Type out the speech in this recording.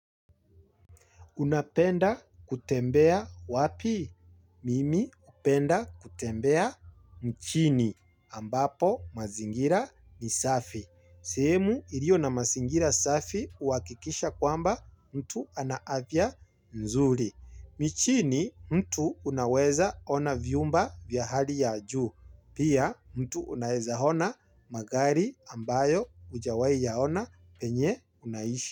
Unapenda kutembea wapi mimi hupenda kutembea mchini ambapo mazingira ni safi. Sehemu iliyo na mazingira safi huakikisha kwamba mtu ana avya nzuri. Michini mtu unaweza ona viumba vya hali ya juu. Pia mtu unaeza hona magari ambayo hujawai yaona penye unaishi.